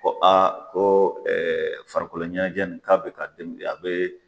Ko a ko farikolo ɲɛnajɛ in k'a bɛ k'a den a bɛ.